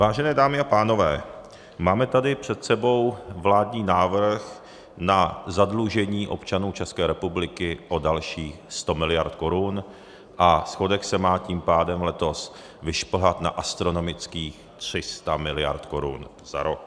Vážené dámy a pánové, máme tady před sebou vládní návrh na zadlužení občanů České republiky o dalších 100 miliard korun a schodek se má tím pádem letos vyšplhat na astronomických 300 miliard korun za rok.